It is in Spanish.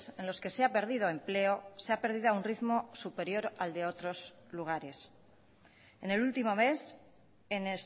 en los que se ha perdido empleo se ha perdido a un ritmo superior al de otros lugares en el último mes en